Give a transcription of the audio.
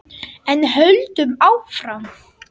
En höldum áfram: